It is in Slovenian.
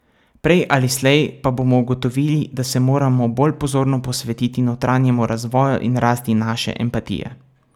Prej ali slej pa bomo ugotovili, da se moramo bolj pozorno posvetiti notranjem razvoju in rasti naše empatije.